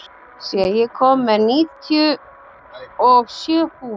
Asía, ég kom með níutíu og sjö húfur!